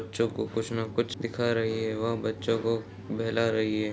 बच्चों को कुछ न कुछ दिखा रही है वह बच्चों को बहला रही है।